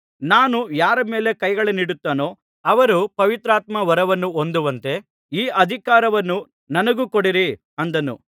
ನಾನು ಯಾರ ಮೇಲೆ ಕೈಗಳನ್ನಿಡುತ್ತೇನೋ ಅವರು ಪವಿತ್ರಾತ್ಮವರವನ್ನು ಹೊಂದುವಂತೆ ಈ ಅಧಿಕಾರವನ್ನು ನನಗೂ ಕೊಡಿರಿ ಅಂದನು